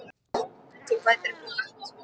Fangaverðir færðu mér mat í frauðplasti sem kom frá